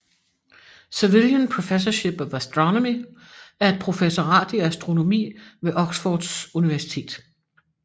Savilian Professorship of Astronomy er et professorat i astronomi ved Oxfords Universitet